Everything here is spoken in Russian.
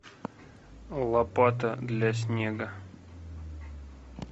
лопата для снега